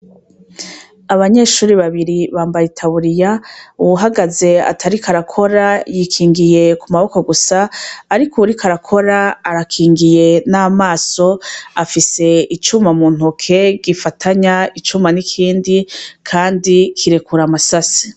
Abanyeshuri babiri bambaye itaburiya uwuhagaze atariko arakora yikingiye ku maboko gusa, ariko uwuriko arakora arakingiye n'amaso afise icuma mu ntoke gifatanya icuma n'ikindi, kandi kirekura amasase.